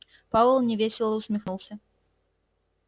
пауэлл невесело усмехнулся